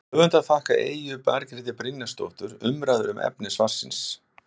Höfundar þakka Eyju Margréti Brynjarsdóttur umræður um efni svarsins.